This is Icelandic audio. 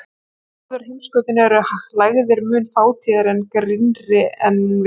Á norðurheimskautinu eru lægðir mun fátíðari og grynnri en við Ísland.